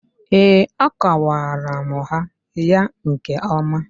Ee, akụwara m ha ya nke ọma.